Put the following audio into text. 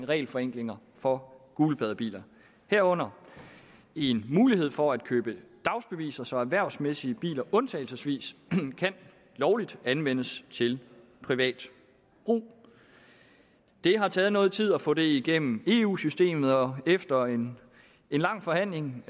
regelforenklinger for gulpladebiler herunder en mulighed for at købe dagsbeviser så erhvervsmæssige biler undtagelsesvis lovligt kan anvendes til privat brug det har taget noget tid at få det igennem eu systemet og efter en lang forhandling